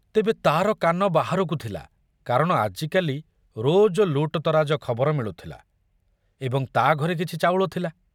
ତେବେ ତାର କାନ ବାହାରକୁ ଥିଲା କାରଣ ଆଜିକାଲି ରୋଜ ଲୁଟତରାଜ ଖବର ମିଳୁଥିଲା ଏବଂ ତା ଘରେ କିଛି ଚାଉଳ ଥିଲା।